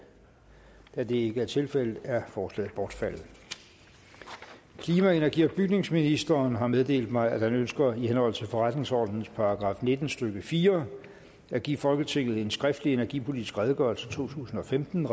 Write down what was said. da det ikke er tilfældet er forslaget bortfaldet klima energi og bygningsministeren har meddelt mig at han ønsker i henhold til forretningsordenens § nitten stykke fire at give folketinget en skriftlig energipolitisk redegørelse totusinde og femtende